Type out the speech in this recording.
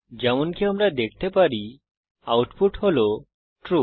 যেমনকি আমরা দেখতে পারি আউটপুট হল ট্রু